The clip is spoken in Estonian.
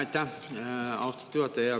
Aitäh, austatud juhataja!